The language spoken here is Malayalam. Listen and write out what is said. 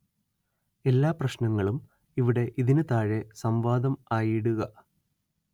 എല്ലാ പ്രശ്നങ്ങളും ഇവിടെ ഇതിനു താഴെ സം‌വാദം ആയി ഇടുക